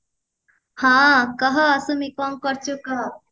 ହଁ କହ ସୁମି କଣ କରୁଛୁ କହ